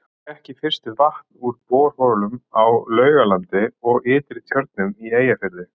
Fékk í fyrstu vatn úr borholum á Laugalandi og Ytri-Tjörnum í Eyjafirði.